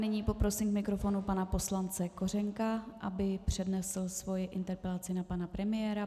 Nyní poprosím k mikrofonu pana poslance Kořenka, aby přednesl svoji interpelaci na pana premiéra.